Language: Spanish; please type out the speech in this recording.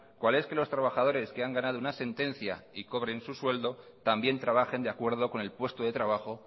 cuál es que los trabajadores que han ganado una sentencia y cobren su sueldo también trabajen de acuerdo con el puesto de trabajo